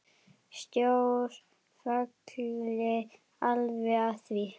Sjór falli alveg að því.